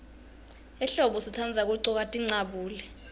ehlombo sitandza kuggcoka tincabule